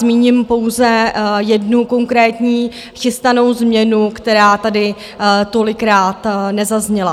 Zmíním pouze jednu konkrétní chystanou změnu, která tady tolikrát nezazněla.